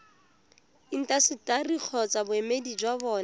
intaseteri kgotsa boemedi jwa bona